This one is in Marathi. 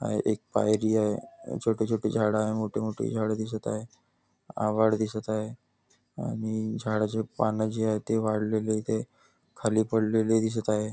आहे एक पायरी आहे छोटी छोटी झाड आहे मोठी मोठी झाड दिसत आहे आभाळ दिसत आहे आणि झाडाची पानं जे आहेत ते वाळलेली इथे खाली पडलेली दिसत आहेत.